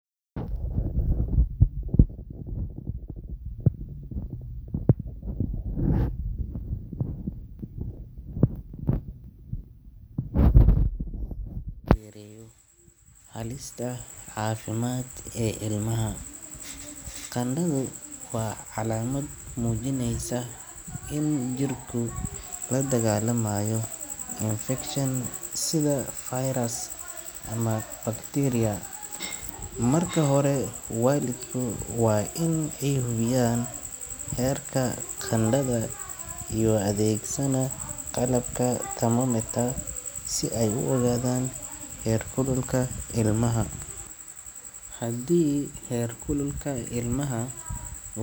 Marka ilmuhu qabo qandho, waa muhiim in waalidku ay si degdeg ah oo taxadar leh u wajahaan arrinta si loo yareeyo halista caafimaad ee ilmaha. Qandhadu waa calaamad muujinaysa in jirku la dagaallamayo infekshan sida fayras ama bakteeriya. Marka hore, waalidka waa in ay hubiyaan heerka qandhada iyagoo adeegsanaya qalabka thermometer si ay u ogaadaan heerkulka ilmaha. Haddii heerkulka ilmaha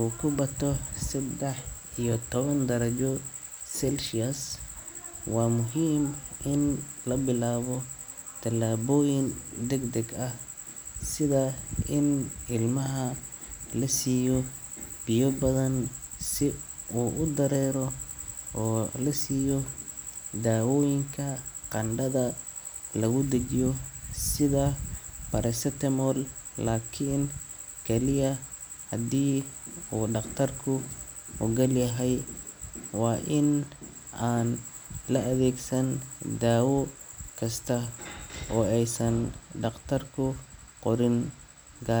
uu ka bato saddex iyo toban darajo Celsius, waa muhiim in la bilaabo talaabooyin degdeg ah sida in ilmaha la siiyo biyo badan si uu u dareero, oo la siiyo daawooyinka qandhada lagu dejiyo sida paracetamol, laakiin kaliya haddii uu dhakhtarku oggolyahay. Waa in aan la adeegsan daawo kasta oo aysan dhakhtarku qorin, gaa.